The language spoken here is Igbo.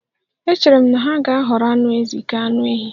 Echere m na ha ga-ahọrọ anụ ezi ka anụ ehi